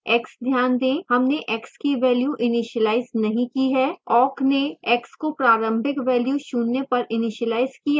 x ध्यान दें हमने x की value इनिशिलाइज नहीं ही है